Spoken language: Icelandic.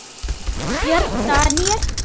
Björn Daníel?